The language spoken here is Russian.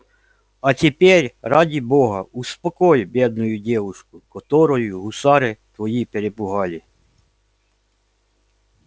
а теперь ради бога успокой бедную девушку которую гусары твои перепугали